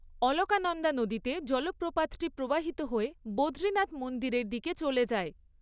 অলকানন্দা নদীতে জলপ্রপাতটি প্রবাহিত হয়ে বদ্রীনাথ মন্দিরের দিকে চলে যায়।